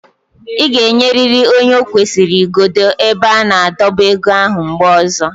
Ị ga-enyeriri onye o kwesịrị igodo ebe a na-adọba ego ahụ mgbe ọzọ.